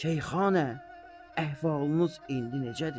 Şeyxanə, əhvalınız indi necədir?